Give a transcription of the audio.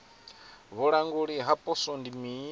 vhulanguli ha poswo ndi mini